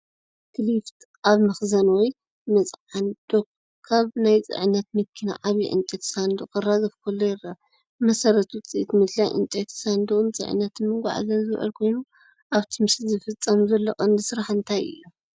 ፎርክሊፍት ኣብ መኽዘን ወይ መጽዓኒ ዶክ ካብ ናይ ጽዕነት መኪና ዓቢ ዕንጨይቲ ሳንዱቕ ከራግፍ ከሎ ይርአ። ብመሰረት ውጽኢት ምድላይ ዕንጨይቲ ሳንዱቕ ንጽዕነትን መጓዓዝያን ዝውዕል ኮይኑ፡ ኣብቲ ምስሊ ዝፍጸም ዘሎ ቀንዲ ስራሕ እንታይ እዩ?